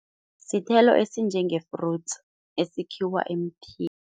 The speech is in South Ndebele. Sithelo esinjenge-fruits esikhiwa emthini.